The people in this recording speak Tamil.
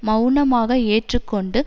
மெளனமாக ஏற்றுக்கொண்டு